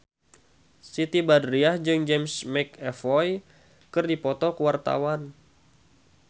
Siti Badriah jeung James McAvoy keur dipoto ku wartawan